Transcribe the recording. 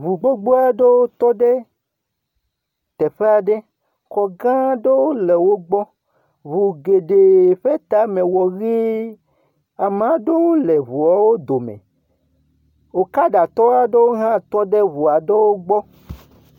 Ŋu gbogbo aɖewo tɔ ɖe teƒe aɖe, xɔ gã aɖewo le wo gbɔ, ŋu geɖe ƒe tame wɔ ʋii. Ame aɖewo le ŋuawo dome. Okaɖatɔwo hã tɔ ɖe ŋu aɖewo gbɔ